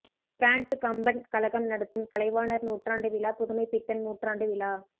France Kamban கழகம் நடத்தும் கலைவாணர் நூற்றாண்டு விழா புதுமைப் பித்தன் நூற்றாண்டு விழா